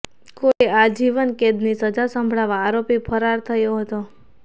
કોર્ટે આજીવન કેદની સજા સંભળાવતા આરોપી ફરાર થયો હતો